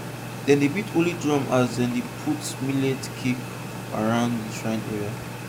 dem dey beat holy drum as dem dey put millet cake around shrine area